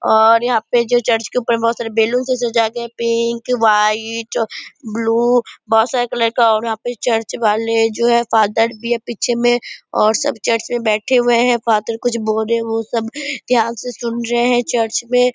और यहाँ पे जो चर्च के ऊपर बहुत सारे बैलून्स से सजाया गया है पिंक वाइट ब्लू बोहोत सारे कलर के है और यहाँ पे चर्च वाले जो है फादर भी है पीछे मे और सब चर्च में बैठे हुए है। फादर कुछ बोल रहे है वो सब ध्यान से सुन रहे है चर्च मे --